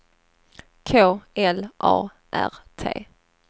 K L A R T